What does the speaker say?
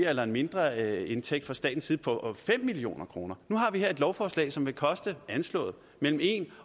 eller en mindre indtægt for staten på fem million kroner nu har vi her et lovforslag som vil koste anslået mellem en